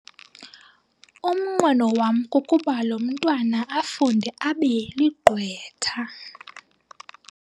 Umnqweno wam kukuba lo mntwana afunde abe ligqwetha.